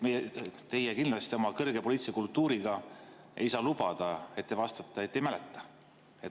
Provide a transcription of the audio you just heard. Teie kindlasti oma kõrge poliitilise kultuuriga ei saa lubada, et te vastate, et ei mäleta.